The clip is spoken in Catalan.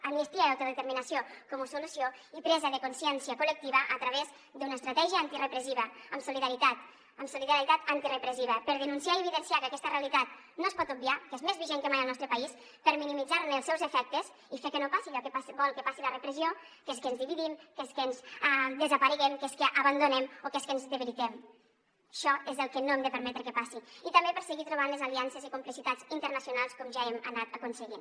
amnistia i autodeterminació com a solució i presa de consciència col·lectiva a través d’una estratègia antirepressiva amb solidaritat amb solidaritat antirepressiva per denunciar i evidenciar que aquesta realitat no es pot obviar que és més vigent que mai al nostre país per minimitzar ne els seus efectes i fer que no passi allò que vol que passi la repressió que és que ens dividim que és que desapareguem que és que abandonem o que és que ens debilitem això és el que no hem de permetre que passi i també per seguir trobant les aliances i complicitats internacionals com ja hem anat aconseguint